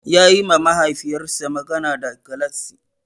Yayi ma Mahaifiyarsa magana da galatsi.